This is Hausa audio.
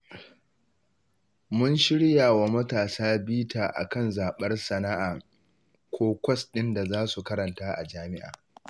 Mun shirya wa matasa bita a kan zaɓar sana'a ko kwas ɗin da za su karanta a jami'a